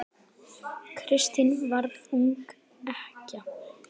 Kristín varð ung ekkja.